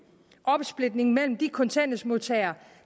opsplitning mellem de kontanthjælpsmodtagere